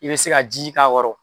I bɛ se ka ji k'a kɔrɔ.